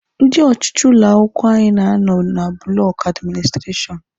Ndị ọchịchị ụlọ akwụkwọ anyị na-anọ na bụlọkụ administireshọn